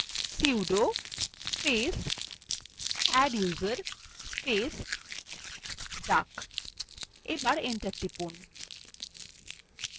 sudo space adduser space duck এবার enter টিপুন